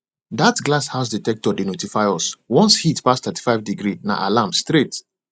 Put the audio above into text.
that glass house dectector dey notify us once heat pass 35 degree na alarm straight